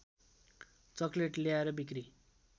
chocolate ल्याएर बिक्री